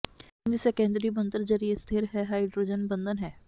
protein ਦੀ secondary ਬਣਤਰ ਜ਼ਰੀਏ ਸਥਿਰ ਹੈ ਹਾਈਡਰੋਜਨ ਬੰਧਨ ਹੈ